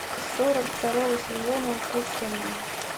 сорок второго сезона укушенные